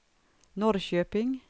Norrköping